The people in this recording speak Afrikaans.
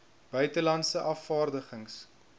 buite landse afvaardigings